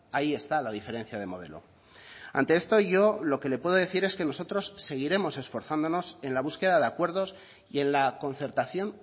ahí está la diferencia de modelo ante esto yo lo que le puedo decir es que nosotros seguiremos esforzándonos en la búsqueda de acuerdos y en la concertación